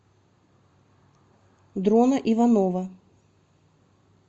дрона иванова